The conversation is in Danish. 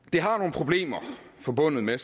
problemer forbundet med